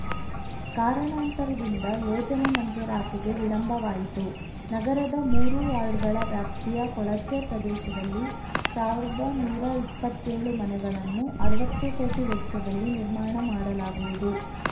ಕಾರಣಾಂತರದಿಂದ ಯೋಜನೆ ಮಂಜೂರಾತಿಗೆ ವಿಳಂಬವಾಯಿತು ನಗರದ ಮೂರು ವಾರ್ಡ್‌ಗಳ ವ್ಯಾಪ್ತಿಯ ಕೊಳಚೆ ಪ್ರದೇಶದಲ್ಲಿ ಸಾವಿರದ ನೂರಾ ಇಪ್ಪತ್ತೇಳು ಮನೆಗಳನ್ನು ಅರ್ವತ್ತು ಕೋಟಿ ವೆಚ್ಚದಲ್ಲಿ ನಿರ್ಮಾಣ ಮಾಡಲಾಗುವುದು